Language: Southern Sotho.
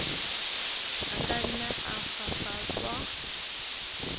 a ka nna a fafatswa